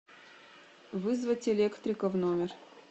вызвать электрика в номер